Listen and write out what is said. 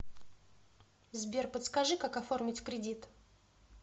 сбер подскажи как оформить кредит